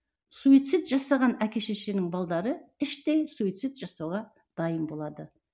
суицид жасаған әке шешенің балдары іштей суицид жасауға дайын болады